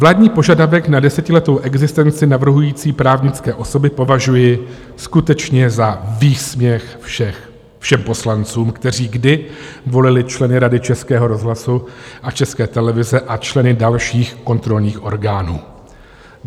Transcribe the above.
Vládní požadavek na desetiletou existenci navrhující právnické osoby považuji skutečně za výsměch všem poslancům, kteří kdy volili členy Rady Českého rozhlasu a České televize a členy dalších kontrolních orgánů.